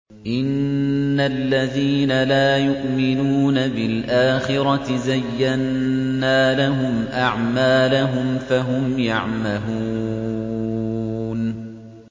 إِنَّ الَّذِينَ لَا يُؤْمِنُونَ بِالْآخِرَةِ زَيَّنَّا لَهُمْ أَعْمَالَهُمْ فَهُمْ يَعْمَهُونَ